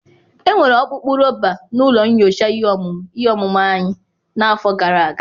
Enwere ọkpụkpụ rọba na ụlọ nyocha ihe ọmụmụ ihe ọmụmụ anyị n'afọ gara aga.